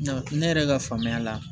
Nka ne yɛrɛ ka faamuya la